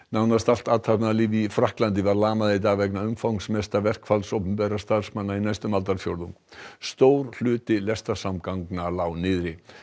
nánast allt athafnalíf í Frakklandi var lamað í dag vegna umfangsmesta verkfalls opinberra starfsmanna í næstum aldarfjórðung stór hluti lestarsamgangna lá niðri